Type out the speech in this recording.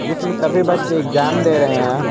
जिसमें सभी बच्चे एग्जाम दे रहे हैं।